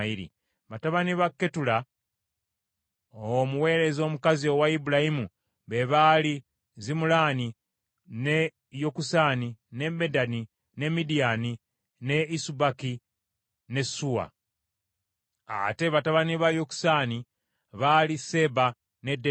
Batabani ba Ketula, omuweereza omukazi owa Ibulayimu be baali Zimulaani, ne Yokusaani, ne Medani, ne Midiyaani, ne Isubaki ne Suwa. Ate batabani ba Yokusaani baali Seeba ne Dedani.